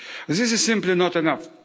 This is simply not enough